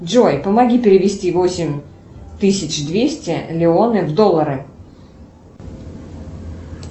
джой помоги перевести восемь тысяч двести лионы в доллары